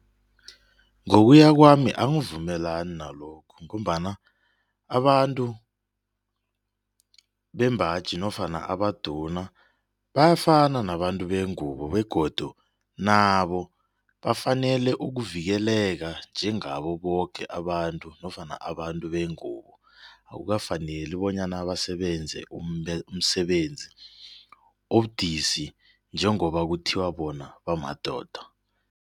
Ngokuya kwami angivumelani nalokho ngombana abantu bembaji nofana abaduna bayafana nabantu bengubo begodu nabo bafanele ukuvikeleka njengabo boke abantu nofana abantu bengubo akukafaneli bonyana basebenze umsebenzi obudisi njengoba kuthiwa bona bamadoda.